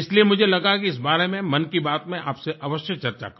इसलिए मुझे लगा कि इसके बारे में मन की बात में आप से अवश्य चर्चा करूँ